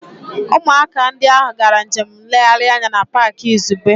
Ụmụaka ndị ahụ gara njem nlegharị anya na Pááki izugbe